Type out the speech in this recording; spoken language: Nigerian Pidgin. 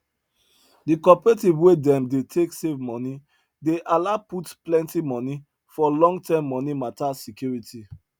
the cooperative wey them dey take save money dey allow put plenty money for longterm money matter security